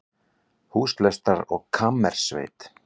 Húslestrar og kammersveit